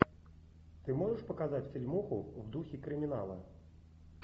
ты можешь показать фильмуху в духе криминала